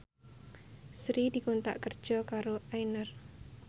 Sri dikontrak kerja karo Aigner